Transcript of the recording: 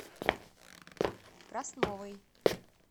красновой